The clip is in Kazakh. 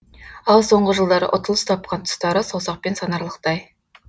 ал соңғы жылдары ұтылыс тапқан тұстары саусақпен санаралықтай